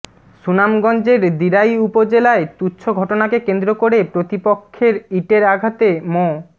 সুনামগঞ্জের দিরাই উপজেলায় তুচ্ছ ঘটনাকে কেন্দ্র করে প্রতিপক্ষের ইটের আঘাতে মো